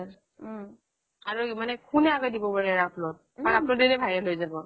আৰু মানে কোনে আগে দিব পাৰে upload কাৰণ upload দিলেই viral হৈ যাব